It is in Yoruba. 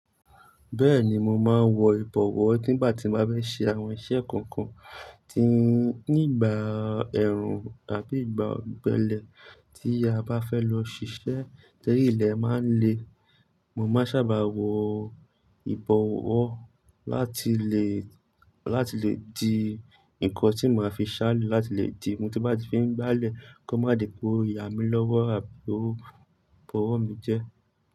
Bẹ́ẹ̀ni mo máa ń wọ ìbọ̀wọ́ nígbà tí mo bá fẹ́ ṣe àwọn iṣẹ́ kọ̀ọ̀kan, tí nígbà ẹ̀rùn àbí ìgbà ọ̀gbẹlẹ̀ tí a bá fẹ́ lọ ṣiṣẹ́ tori ilè máa ń le, mo máa sábà wọ ìbọ̀wọ́ láti lè, láti lè di ǹkan tí mo máa fi ṣá le láti lè dimu, tín bá ti fiń gbálẹ̀ kó má di pé o yà mí lọ́wọ́ àbí ọ̀ bowọ́ mi jẹ.